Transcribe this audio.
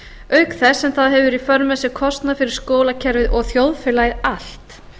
auk þess sem það hefur í för með sér kostnað fyrir skólakerfið og þjóðfélagið allt